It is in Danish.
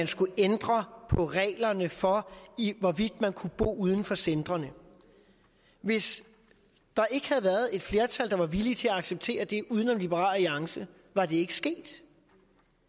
skulle ændres på reglerne for hvorvidt man kunne bo uden for centrene hvis der ikke havde været et flertal der var villige til at acceptere det uden om liberal alliance var det ikke sket